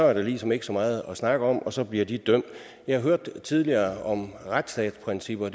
er der ligesom ikke så meget at snakke om og så bliver de dømt jeg hørte tidligere om at retsstatsprincipper